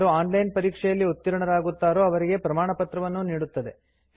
ಯಾರು online ಪರೀಕ್ಷೆಯಲ್ಲಿ ಉತ್ತೀರ್ಣರಾಗುತ್ತಾರೋ ಅವರಿಗೆ ಪ್ರಮಾಣಪತ್ರವನ್ನೂ ನೀಡುತ್ತದೆ